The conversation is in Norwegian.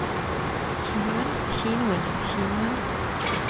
kinoen kinoen kinoen